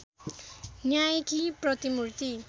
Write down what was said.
न्यायकी प्रतिमूर्ति